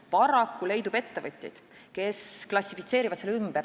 Paraku leidub ettevõtjaid, kes klassifitseerivad selle ümber.